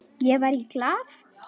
Ég var í Glað.